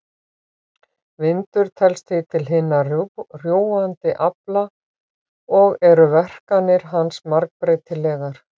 Vindur telst því til hinna rjúfandi afla og eru verkanir hans margbreytilegar.